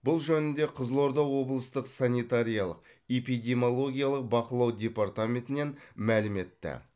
бұл жөнінде қызылорда облыстық санитариялық эпидемиологиялық бақылау департаментінен мәлім етті